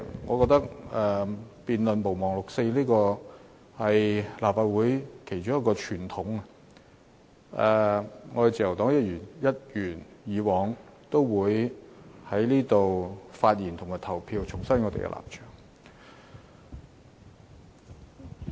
我覺得辯論"毋忘六四"的議案是立法會其中一個傳統，自由黨會一如既往就議案發言和投票，重申我們的立場。